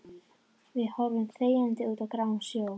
Við horfum þegjandi út á gráan sjó.